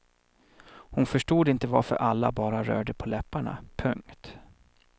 Hon förstod inte varför alla bara rörde på läpparna. punkt